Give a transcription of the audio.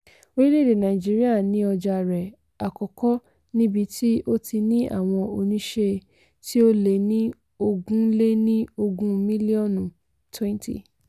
orílẹ̀-èdè nàìjíríà ni ọjà rẹ̀ àkọ́kọ́ níbi tí ó ti ní àwọn oníṣe tí ó lé ní ogún lé ní ogún mílíọ̀nù twenty.